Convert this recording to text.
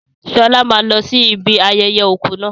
Sọlá máa lọ sí ibi ayẹyẹ òkú náà